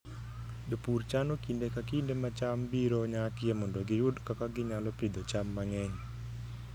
Jopur chano kinde ka kinde ma cham biro nyakie mondo giyud kaka ginyalo pidho cham mang'eny.